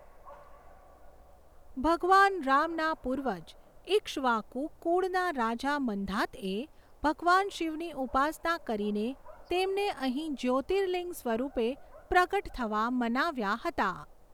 ભગવાન રામના પૂર્વજ ઈક્ષ્વાકુ કુળના રાજા મંધાતએ ભગવાન શિવની ઉપાસના કરીને તેમને અહીં જ્યોતિર્લિંગ સ્વરૂપે પ્રગટ થવા મનાવ્યાં હતાં.